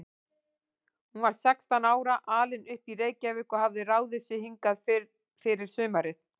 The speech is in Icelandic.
Hún var sextán ára, alin upp í Reykjavík og hafði ráðið sig hingað fyrir sumarið.